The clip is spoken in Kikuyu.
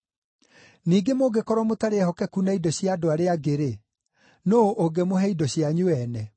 Ningĩ mũngĩkorwo mũtarĩ ehokeku na indo cia andũ arĩa angĩ-rĩ, nũũ ũngĩmũhe indo cianyu ene?